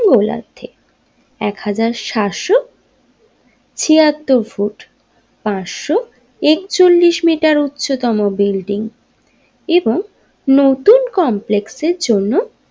গোলার্ধে এক হাজার সাতশো ছিয়াত্তর ফুট পাঁচশো একচল্লিশ মিটার উচ্চতম বিল্ডিং এবং নতুন কমপ্লেক্সের জন্য।